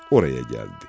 Oraya gəldi.